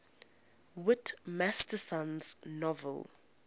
whit masterson's novel